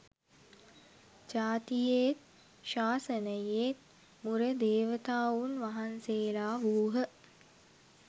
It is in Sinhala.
ජාතියේත් ශාසනයේත් මුර දේවතාවුන් වහන්සේලා වූහ